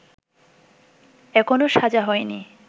এখনও সাজা হয়নি